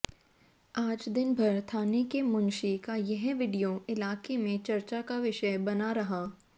आज दिनभर थाने के मुंशी का यह वीडियो इलाके में चर्चा का विषय बना रहा